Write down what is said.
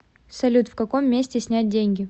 салют в каком месте снять деньги